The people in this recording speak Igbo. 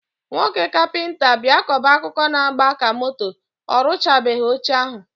Nwoke kapịnta bịa kọba akụkọ na agba ka moto, orụchabeghi oche ahụ